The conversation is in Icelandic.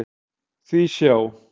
Því sjá!